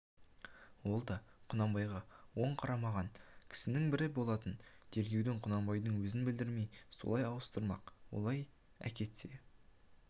ол да құнанбайға оң қарамаған кісінің бірі болатын тергеуді құнанбайдың өзіне білдірмей солай ауыстырмақ олай әкетсе